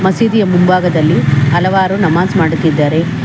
ಮಸೀದಿಯ ಮುಂಭಾಗದಲ್ಲಿ ಹಲವಾರು ನಮಾಜ್ ಮಾಡುತ್ತಿದ್ದಾರೆ.